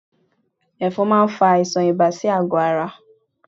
Ẹ̀fọn máa ń fa àìsàn ibà sí àgọ́ ara